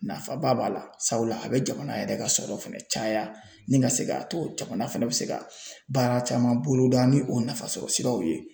Nafaba b'a la sabula a bɛ jamana yɛrɛ ka sɔrɔ fana caya ni ka se k'a to jamana fana bɛ se ka baara caman boloda ni o nafasɔrɔsiraw ye.